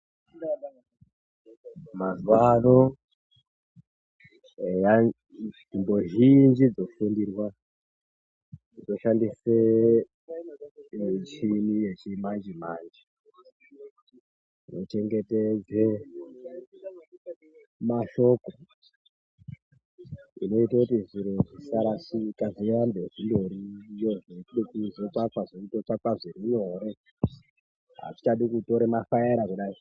Mazuwa ano eya nzvimbo zhinji dzofundirwa dzoshandise michini yechimanje manje inochengetedza mashoko inototi zviro zvisarashika zvirambe zvindoriyo zvekuti zveindotsvakwa zvitsvakwe zvirinyore. Azvichadi kutore mafaera kudayi.